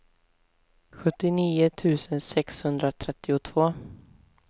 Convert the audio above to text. sjuttionio tusen sexhundratrettiotvå